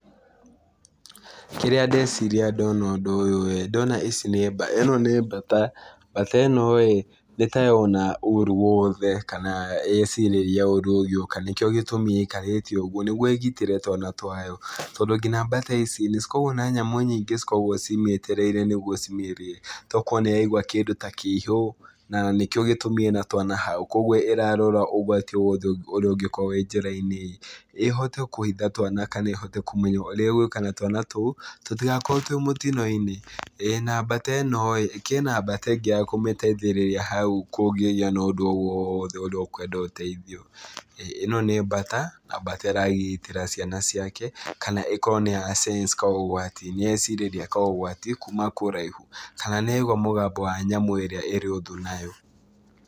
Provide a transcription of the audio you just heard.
Kĩrĩa ndeciria ndona ũndũ ũyũ ĩĩ, ndĩrona ici nĩ ĩno nĩ mbata. Mbata ĩno ĩĩ, nĩ ta yona ũũru wothe kana yecirĩria ũũru ũgĩũka. Nĩkĩo gĩtũmi ĩikarĩte ũguo nĩguo ĩgitĩre twana twayo. Tondũ ngina mbata ici nĩ cokoragwo na nyamũ nyingĩ cikoragwo cimĩetereire nĩguo cimĩrĩe. Tokorwo nĩ yaigua kĩndũ ta kĩihu, na nĩkĩo gĩtũmi ĩna hau. Kũguo ĩrarora ũgwati ũrĩa ũngĩkorwo wĩ njĩra-inĩ, ĩhote kũiga twana kana kũmenya ũrĩa ĩgwĩka na twana tũu, tũtigakorwo twĩ mũtino-inĩ. Na mbata ĩno ĩĩ, kĩna mbata ĩngĩ ya kũmĩteithĩrĩria hau, kũngĩgĩa na ũndũ o wothe ũrĩa ũkwenda ũteithio. ĩno nĩ mbata, na mbata ĩragitĩra ciana ciake, kana ĩkorwo nĩ ya sense kaũgwati nĩ yecirĩria kaũgwati, kuuma kũraihu. Kana nĩ yaigua mũgamba wa nyamũ ĩrĩa ĩrĩ ũthũ nayo.